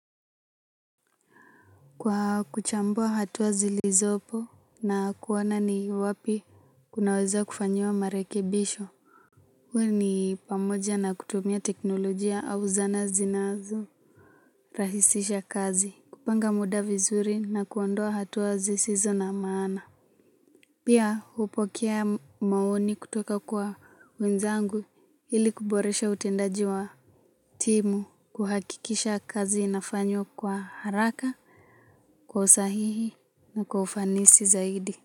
Kwa kuchambua hatua zilizopo na kuona ni wapi kunaweza kufanyiwa marekebisho. Uwa ni pamoja na kutumia teknolojia au zana zinazo rahisisha kazi. Kupanga muda vizuri na kuondoa hatua zisizo na maana. Pia hupokea maoni kutoka kwa wenzangu ili kuboresha utendaji wa timu. Kuhakikisha kazi inafanywo kwa haraka, kwa usahihi na kwa ufanisi zaidi.